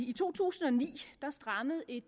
i to tusind og ni at der strammede et